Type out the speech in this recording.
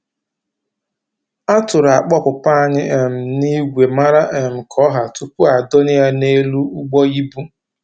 A tụrụ akpa ọpụpa anyị um n'igwe mara um ka ọ́hà tupuu a dọnye ya n'elu ụgbọ íbú